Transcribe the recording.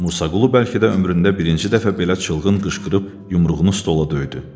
Musaqulu bəlkə də ömründə birinci dəfə belə çılğın qışqırıb yumruğunu stola döydü.